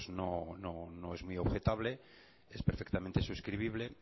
no es muy objetable es perfectamente suscribible